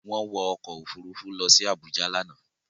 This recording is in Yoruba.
Wọ́n wọ ọkọ̀-òfurufú lọ sí Àbújá lánàá.